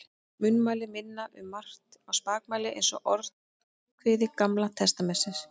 Munnmælin minna um margt á spakmæli eins og Orðskviði Gamla testamentisins.